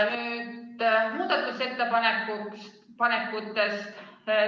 Nüüd muudatusettepanekutest.